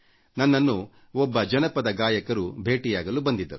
ನನ್ನನ್ನು ಒಬ್ಬ ಜನಪದ ಗಾಯಕರು ಭೇಟಿಯಾಗಲು ಬಂದಿದ್ದರು